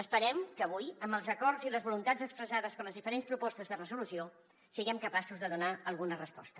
esperem que avui amb els acords i les voluntats expressades per les diferents propostes de resolució siguem capaços de donar alguna resposta